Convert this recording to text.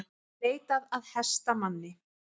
Leitað að hestamanni